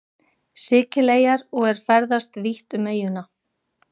Sikileyjar og er ferðast vítt um eyjuna.